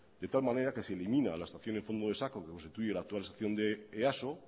de tal manera que se elimina la estación del fondo de saco que constituye el actual estación de easo